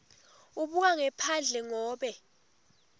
ubuka ngephandle ngobe